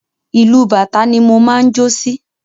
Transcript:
Ìlù bàtá ni mo máa ń jó sí.